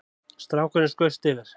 Strákurinn skaust yfir